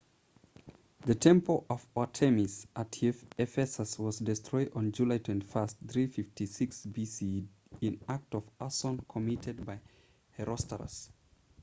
the temple of artemis at ephesus was destroyed on july 21 356 bce in an act of arson committed by herostratus